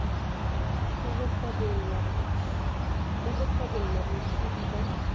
ba ho hlabolla botsebi ba